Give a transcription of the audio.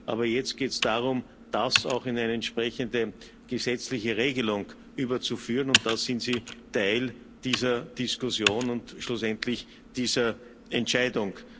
Aber jetzt geht es darum, das auch in eine entsprechende gesetzliche Regelung überzuführen, und da sind Sie Teil dieser Diskussion und schlussendlich dieser Entscheidung.